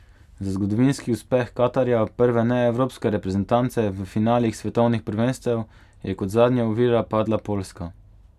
Za zgodovinski uspeh Katarja, prve neevropske reprezentance v finalih svetovnih prvenstev, je kot zadnja ovira padla Poljska.